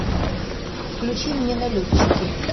включи мне налетчики